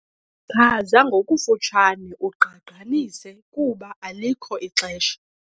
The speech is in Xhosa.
Chaza ngokufutshane ugqagqanise kuba alikho ixesha.